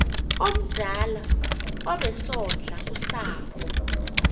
omdala obesondla usapho